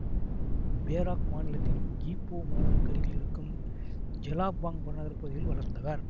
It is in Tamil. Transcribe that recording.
பேராக் மாநிலத்தின் ஈப்போ மாநகருக்கு அருகில் இருக்கும் ஜெலாப்பாங் புறநகர் பகுதியில் வளர்ந்தவர்